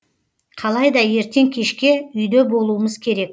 қалайда ертең кешке үйде болуымыз керек